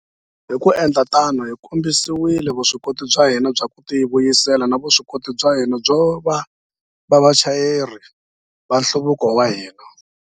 Hi ku endla tano, hi kombisile vuswikoti bya hina bya ku tivuyisela na vuswikoti bya hina byo va vachayeri va nhluvuko wa hina.